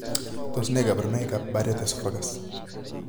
Tos nee kabarunaik ab Barrett esophagus ?